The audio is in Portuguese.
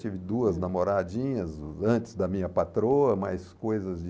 Tive duas namoradinhas antes da minha patroa, mas coisas de...